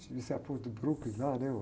Devia ser a ponte do Brooklyn lá, né?